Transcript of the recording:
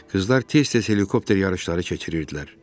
Qızlar tez-tez helikopter yarışları keçirirdilər.